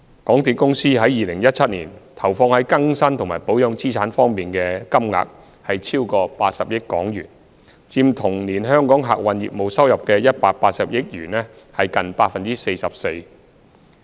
港鐵公司於2017年投放在更新及保養資產方面的金額超過80億元，佔同年香港客運業務收入的182億元近 44%。